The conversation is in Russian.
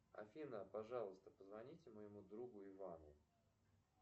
афина пожалуйста позвоните моему другу ивану